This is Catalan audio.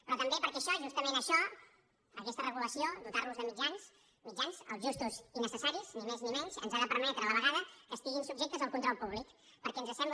però també perquè això justament això aquesta regulació dotar los de mitjans mitjans els justos i necessaris ni més ni menys ens ha de permetre a la vegada que estiguin subjectes al control públic perquè ens sembla